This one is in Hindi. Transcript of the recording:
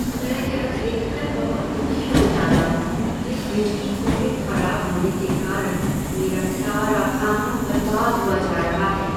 मैं यह देख कर बहुत दुखी हो जाता हूँ कि फ्रिज की कूलिंग खराब होने के कारण मेरा सारा खाना बर्बाद हुआ जा रहा है।